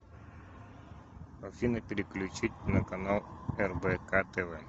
афина переключить на канал рбк тв